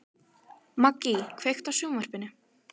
Maggý, kveiktu á sjónvarpinu.